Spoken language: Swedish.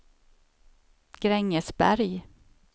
Grängesberg